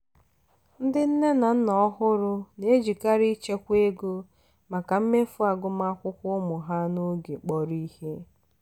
ndị nne na nna ọhụrụ na-ejikarị ịchekwa ego maka mmefu agụmakwụkwọ ụmụ ha n'oge kpọrọ ihe.